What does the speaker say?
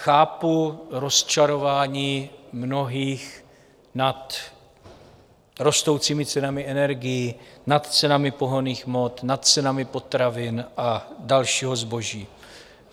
Chápu rozčarování mnohých nad rostoucími cenami energií, nad cenami pohonných hmot, nad cenami potravin a dalšího zboží.